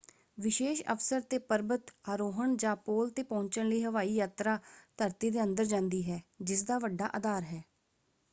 ਵਿਸ਼ੇਸ਼ ਅਵਸਰ 'ਤੇ ਪਰਬਤ ਆਰੋਹਣ ਜਾਂ ਪੋਲ 'ਤੇ ਪਹੁੰਚਣ ਲਈ ਹਵਾਈ ਯਾਤਰਾ ਧਰਤੀ ਦੇ ਅੰਦਰ ਜਾਂਦੀ ਹੈ ਜਿਸਦਾ ਵੱਡਾ ਅਧਾਰ ਹੈ।